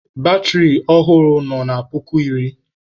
Batịrị ọhụrụ nọ na puku iri.